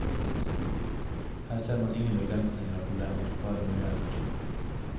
Her ser man ingen begrensninger og problemer, bare muligheter.